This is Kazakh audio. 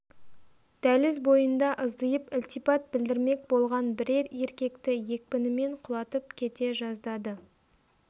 дәліз бойында ыздиып ілтипат білдірмек болған бірер еркекті екпінімен құлатып кете жаздады